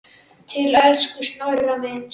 Til elsku Snorra míns.